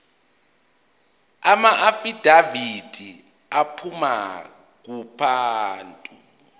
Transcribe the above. amaafidavithi aphuma kubantu